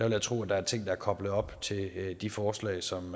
jeg tro der er ting der er koblet op til de forslag som